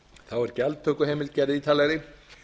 þá er gjaldtökuheimild gerð ítarlegri